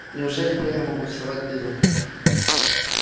неужели перья могут вставать дыбом